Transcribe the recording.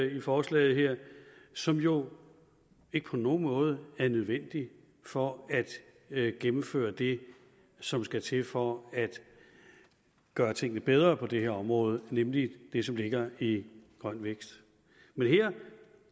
i forslaget her som jo ikke på nogen måde er nødvendige for at gennemføre det som skal til for at gøre tingene bedre på det her område nemlig det som ligger i grøn vækst men her